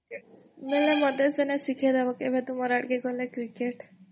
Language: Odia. ବେଲେ ମତେ ଦିନେ ଶିଖେଇଦବ କେବେ ତୁମର ଆଡକେ ଗଲେ କ୍ରିକେଟ୍